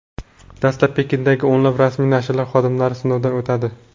Dastlab Pekindagi o‘nlab rasmiy nashrlar xodimlari sinovdan o‘tadi.